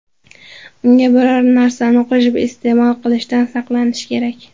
Unga biror narsani qo‘shib iste’mol qilishdan saqlanish kerak.